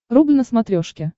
рубль на смотрешке